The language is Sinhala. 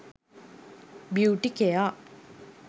beauty care